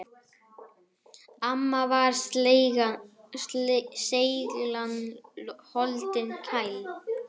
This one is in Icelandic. Amma var seiglan holdi klædd.